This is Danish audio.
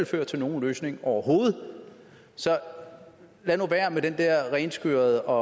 føre til nogen løsning overhovedet lad nu være med den renskurethed og